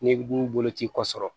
Ne dun bolo ci kɔ sɔrɔ